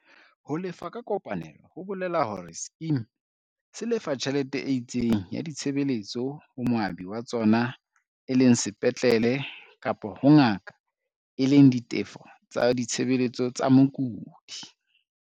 Ho lefa ka kopanelo ho bole la hore sekema se lefa tjhelete e itseng ya ditshebeletso ho moabi wa tsona e leng sepatlele kapa ho ngaka e leng ditefo tsa ditshebeletso tsa mokudi.